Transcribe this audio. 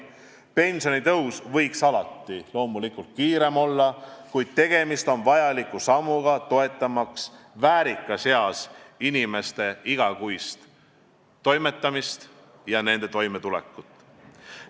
Pensionitõus võiks alati loomulikult kiirem olla, kuid tegemist on vajaliku sammuga, toetamaks väärikas eas inimeste igakuist toimetamist ja nende toimetulekut.